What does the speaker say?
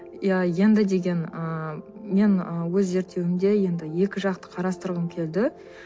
иә енді деген ыыы мен ы өз зерттеуімде енді екі жақты қарастырғым келді